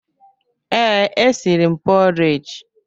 Ee, e siri m pọreji.